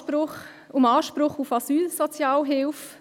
Hier geht es um Anspruch auf Asylsozialhilfe.